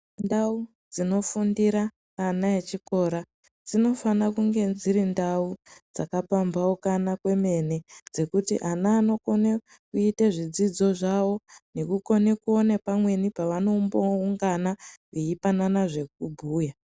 Ndau dzinofundira ana echikora dzinofana kunge dziri ndau dzakapampaukana kwemene dzekuti ana anokone kuite zvidzidzo zvawo nekukone kuone pamweni paanomboungana veipanana zvekubhuya.